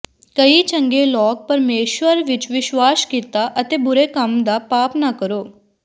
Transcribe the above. ਕਈ ਚੰਗੇ ਲੋਕ ਪਰਮੇਸ਼ੁਰ ਵਿੱਚ ਵਿਸ਼ਵਾਸ ਕੀਤਾ ਅਤੇ ਬੁਰੇ ਕੰਮ ਦਾ ਪਾਪ ਨਾ ਕਰੋ